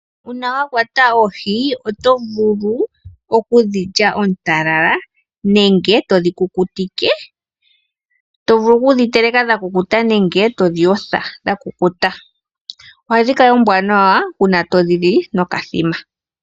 Uuna wa kwata oohi oto vulu kudhi lya oontalala nenge todhi dhi kukutike, tovulu oku dhi teleka dhakukuta, nenge to dhi yotha dhakukuta. Ohadhi kala oombwanawa, uuna todhi li nokathima.